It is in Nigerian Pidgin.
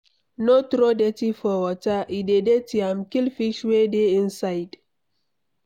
No throw dirty for water, e dey dirty am, kill fish wey dey inside